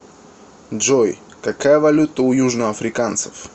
джой какая валюта у южноафриканцев